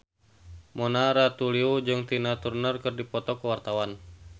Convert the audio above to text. Mona Ratuliu jeung Tina Turner keur dipoto ku wartawan